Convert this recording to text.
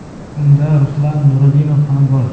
Unda Ruslan Nurudinov ham bor.